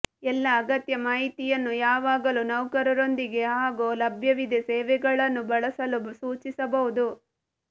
ಎಲ್ಲಾ ಅಗತ್ಯ ಮಾಹಿತಿಯನ್ನು ಯಾವಾಗಲೂ ನೌಕರರೊಂದಿಗೆ ಹಾಗೂ ಲಭ್ಯವಿದೆ ಸೇವೆಗಳನ್ನು ಬಳಸಲು ಸೂಚಿಸಬಹುದು